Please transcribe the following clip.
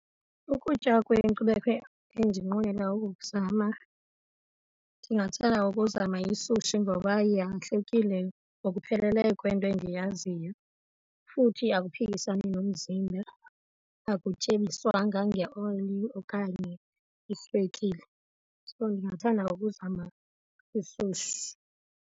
Ukutya kwenkcubeko endinqwenela ukuzama, ndingathanda ukuzama yisushi ngoba yahlukile ngokupheleleyo kwento endiyaziyo futhi akuphisani nomzimba, akutyebiswanga ngeoyili okanye iswekile. So ndingathanda ukuzama isushi.